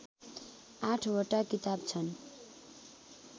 आठवटा किताब छन्